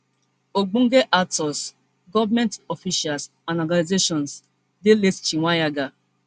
ogbonge actors govment officials and organisations dey late chweneyagae